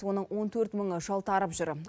оның он төрт мыңы жалтарып жүр